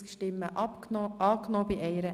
Sie haben Ziffer 2 überwiesen.